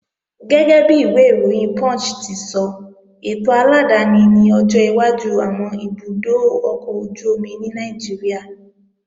Gẹ́gẹ́bi ìwé ìròyìn Punch ti sọ, ètò aládáni ni ọjọ́ iwájú àwọn ibùdó ọkọ̀ ojú-omi ní Nàìjíríà